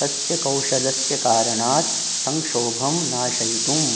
तस्य कौशलस्य कारणात् संक्षोभम् नाशयितुम्